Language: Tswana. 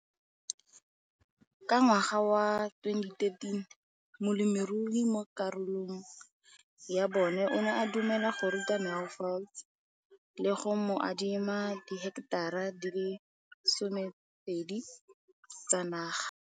Ka ngwaga wa 2013, molemirui mo kgaolong ya bona o ne a dumela go ruta Mansfield le go mo adima di heketara di le 12 tsa naga.